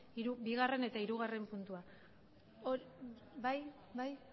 bigarren eta hirugarren puntua bai